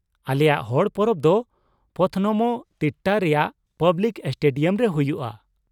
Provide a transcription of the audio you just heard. ᱟᱞᱮᱭᱟᱜ ᱦᱚᱲ ᱯᱚᱨᱚᱵᱽ ᱫᱚ ᱯᱚᱛᱷᱱᱚᱢᱚ ᱛᱤᱴᱴᱟ ᱨᱮᱭᱟᱜ ᱯᱟᱵᱞᱤᱠ ᱥᱴᱮᱰᱤᱭᱟᱢ ᱨᱮ ᱦᱩᱭᱩᱜᱼᱟ ᱾